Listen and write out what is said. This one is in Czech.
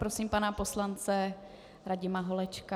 Prosím pana poslance Radima Holečka.